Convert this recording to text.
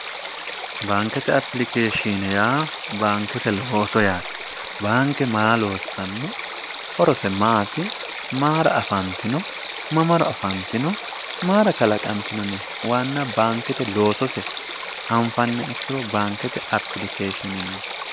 baankete apilikeeshshine yaa baankete ooso yaate baanke maa loossanno horose maati maara afaantino mamaro afaantino maara kalaqantinone waanna baankete loosose anfanne ikkiro baankete apilikeeshinenn